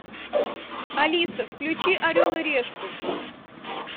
алиса включи орел и решку